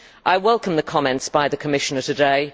I welcome the comments by the Commissioner today.